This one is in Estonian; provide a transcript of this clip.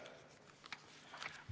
Aitäh!